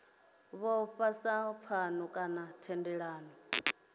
vhofha sa pfano kana thendelano